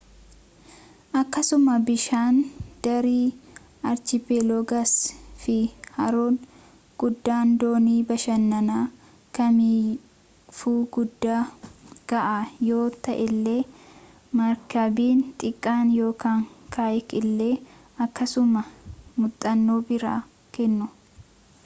akkasuma bishaan daari archipelagos fi haroon guddaan doonii-bashannanaa kamiifuu guddaa ga'aa yoo ta'ellee markabni xiqqaan ykn kayak illee akkasuma muxannoo biraa kennu